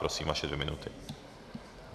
Prosím, vaše dvě minuty.